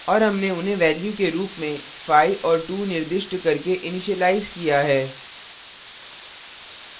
और हमने उन्हें values के रूप में 5 और 2 निर्दिष्ट करके initialize किया है